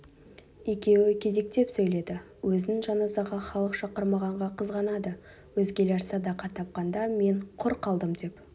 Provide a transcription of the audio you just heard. екеуі кезектеп сөйледі өзін жаназаға халық шақырмағанға қызғанады өзгелер садақа тапқанда мен құр қалдым деп